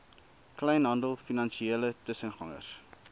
kleinhandel finansiële tussengangers